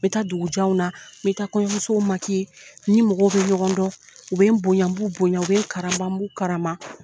N bɛ taa dugu janw na,n bɛ taa kɔɲɔmusow , ni mɔgɔ bɛ ɲɔgɔn dɔn, u bɛ n bonya, n b'u bonya, u bɛ n karama ,n b'u karama.